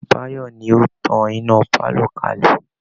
Báyọ̀ ni ó tan iná pálọ̀ kalẹ̀